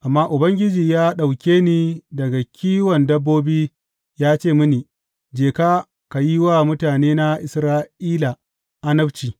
Amma Ubangiji ya ɗauke ni daga kiwon dabbobi ya ce mini, Je ka, ka yi wa mutanena Isra’ila annabci.’